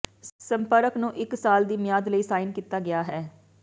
ਸੰਪਰਕ ਨੂੰ ਇਕ ਸਾਲ ਦੀ ਮਿਆਦ ਲਈ ਸਾਈਨ ਕੀਤਾ ਗਿਆ ਹੈ